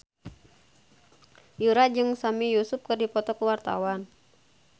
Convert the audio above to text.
Yura jeung Sami Yusuf keur dipoto ku wartawan